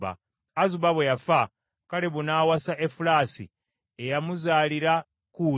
Azuba bwe yafa, Kalebu n’awasa Efulaasi, eyamuzaalira Kuuli.